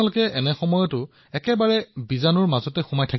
আৰু আপুনি সন্মুখত থাকি কৰোনা বেক্টেৰিয়াৰ মাজতে সহৱস্থান কৰি আছে